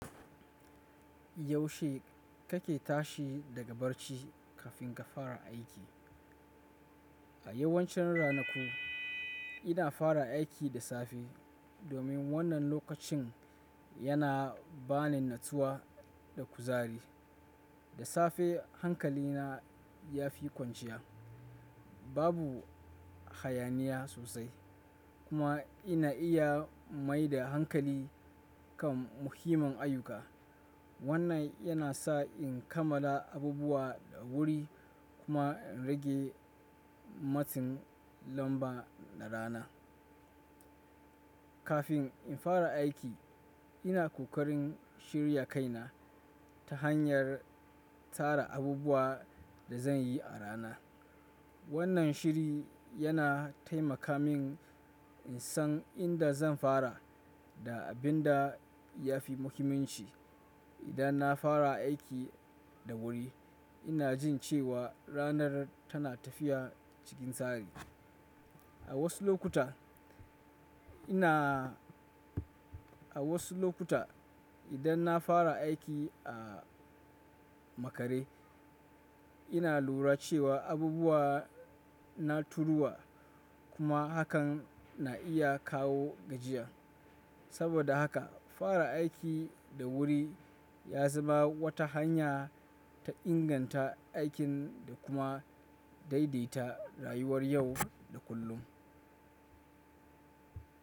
Yaushe kake tashi daga barci kafin ka fara aiki? A yawancin ranaku, ina fara aiki da safe domin wannan lokacin yana bani natsuwa da kuzari. Da safe hankalina yafi kwanciya, babu hayaniya sosai kuma ina iya mai da hankali kan muhimman ayyuka. Wannan yana sa in kammala abubuwa da wuri kuma in rage matsin lamba na rana. Kafin in fara aiki, ina kokarin shirya kaina ta hanyar tsara abubuwan da zan yi a rana. Wannan shiri yana taimaka min in san inda zan fara da abin da ya fi muhimmanci. Idan na fara aiki da wuri, ina jin cewa ranar tana tafiya cikin tsari. A wasu lokuta, idan na fara aiki a makare, ina lura cewa abubuwa na turuwa kuma hakan na iya kawo gajiya. Saboda haka, fara aiki da wuri ya zama wata hanya ta inganta aikin da kuma daidaita rayuwar yau da kullum.